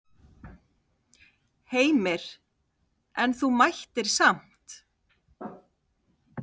Heimir: En þú mættir samt?